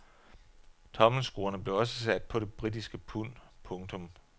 Tommelskruerne blev også sat på det britiske pund. punktum